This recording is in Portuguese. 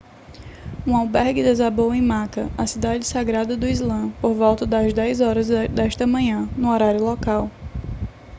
um albergue desabou em meca a cidade sagrada do islã por volta das 10 horas desta manhã no horário local